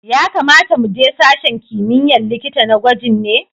Ya kamata mu je sashen kimiyya'n likita na gwajin ne?